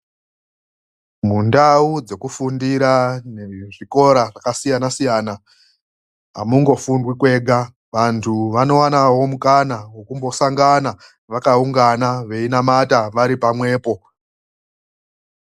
MUNDAU DZEKUFUNDIRA NEZVIKORA ZVAKASIYANA SIYANA HAMUNGOFUNDWI kwega, ANTU ANOONA MUKANA OSANGANA EINAMATA ARIPAMWEPO.